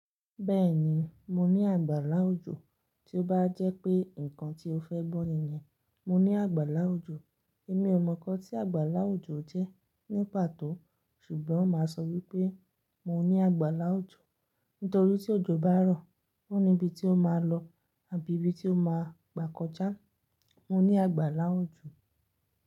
Bẹ́ẹ̀ni, mo ní àgbàlá òjò. Tí ó bá jẹ́ pé nǹkan tí o fẹ́ gbọ́ nìyẹn, mo ní àgbàlá òjò. Èmi ò mọ̀ nkan tí àgbàlá òjò jẹ́ ní pàtó ṣùgbọ́n máa sọ wípé mo ní àgbàlá òjò. Nítorí tí òjò bá rọ̀, ó níbi tí ó máa lọ àbí ibi tí ó máa gbà kọjá. Mo ní àgbàlá òjò.